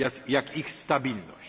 jak ich stabilność.